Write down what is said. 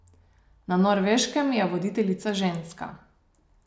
Na Norveškem je voditeljica ženska.